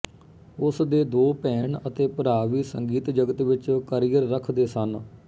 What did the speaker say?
ਉਸ ਦੇ ਦੋ ਭੈਣ ਅਤੇ ਭਰਾ ਵੀ ਸੰਗੀਤ ਜਗਤ ਵਿੱਚ ਕਰੀਅਰ ਰੱਖਦੇ ਸਨ